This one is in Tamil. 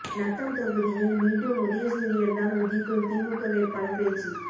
நத்தம் தொகுதியில் மீண்டும் உதயசூரியன் தான் உதிக்கும் திமுக வேட்பாளர் பேச்சு